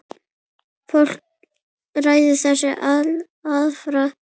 Fólk ræður þessu alfarið sjálft.